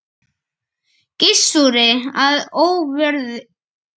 Gissuri að óvörum.